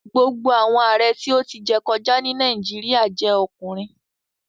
Gbogbo awọn Aare ti o ti jẹ kọja ni Nàìjíríà jẹ ọkunrin